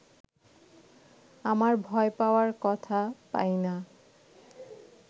আমার ভয় পাওয়ার কথা, পাই না